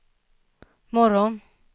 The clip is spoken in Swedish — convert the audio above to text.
morgon